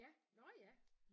Ja nåh ja